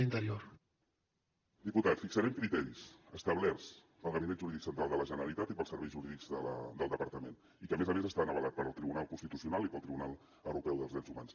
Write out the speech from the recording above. diputat fixarem criteris establerts pel gabinet jurídic central de la generalitat i pels serveis jurídics del departament i que a més a més estan avalats pel tribunal constitucional i pel tribunal europeu de drets humans